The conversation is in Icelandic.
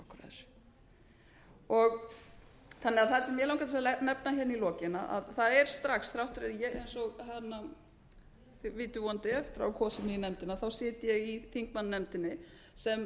verið að spyrja okkur að þessu það sem mig langar til að nefna í lokin er að eins og þið vitið vonandi kosin í nefndina þá sit ég í þingmannanefndinni sem